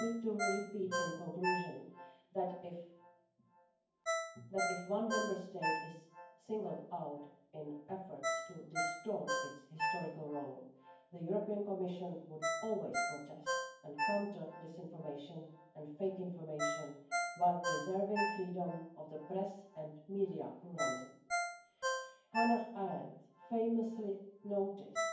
Allow me to repeat, in conclusion, that if one Member State were singled out in efforts to distort its historical role, the European Commission would always protest and counter disinformation and fake information, while preserving freedom of the press and media pluralism. Hannah Arendt famously noticed